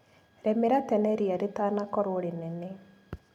Rĩmĩra tene ria rĩtanakorwo rĩnene.